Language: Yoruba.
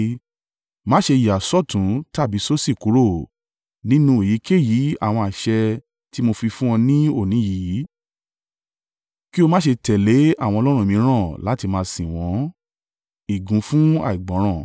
Má ṣe yà sọ́tùn tàbí sósì kúrò, nínú èyíkéyìí àwọn àṣẹ tí mo fi fún ọ ní òní yìí, kí o má ṣe tẹ̀lé àwọn ọlọ́run mìíràn láti máa sìn wọ́n.